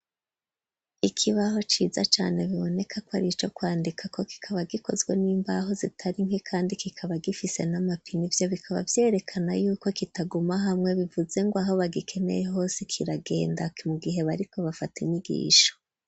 Ikibaho, ciza cane, biboneka ko, ari ico kwandikako; kikaba gikozwe n'imbaho, zitari nke, kandi kikaba, gifise n'amapine; ivyo bikaba, vyerekana y'uko, kitaguma hamwe, bivuze ngo, aho bagikeneye hose, kiragenda, mu gihe, bariko bafata, inyigisho.